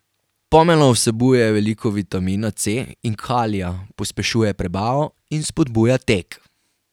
Pomelo vsebuje veliko vitamina C in kalija, pospešuje prebavo in spodbuja tek.